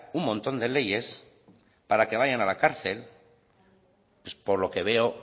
un montón de leyes para que vayan a la cárcel por lo que veo